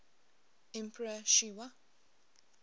emperor sh wa